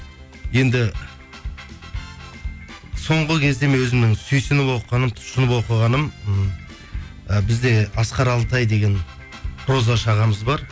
енді соңғы кезде мен өзімнің сүйсініп оқығаным түсініп оқығаным м і бізде асқар алтай деген прозашы ағамыз бар